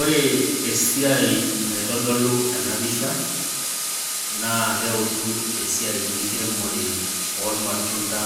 Ore esiai naitodolu ena pisha naa keutu esiai enkiremore oo ilmatunda,